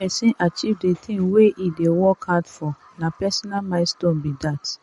if pesin achieve de thing wey e dey work hard for na personal milestone be that.